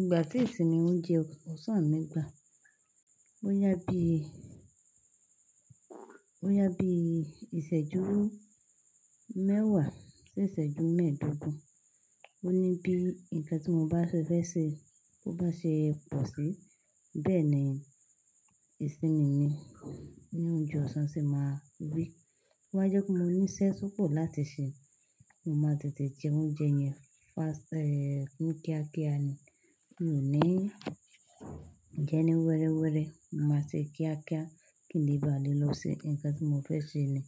Ìgbà tí ìsinmi oúnjẹ ọ̀sán mi gbà, bóyá bí, bóyá bí ìṣẹ́jú mẹ́wàá sí ìṣẹ́jú mẹ́ẹ̀ẹ́dógún. Ó ní bí nǹkan tí mo bá se fẹ́ ṣe, bó bá ṣe pọ̀ sí, bẹ́ẹ̀ ni ìsinmi mi ní oúnjẹ ọ̀sán ṣe máa rí. TÓ ba jẹ́ pé mo ní iṣẹ́ tó pọ̀ láti ṣe. Mo máa tètè jẹ oúnjẹ yẹn fast, eh, ni kíákíá ni. Mi ò ní jẹ ẹni wẹrẹwẹrẹ. Mo máa ṣe kíákíá kí n lè bá à le lọ ṣe nǹkan tí mo fẹ́ ṣe ni.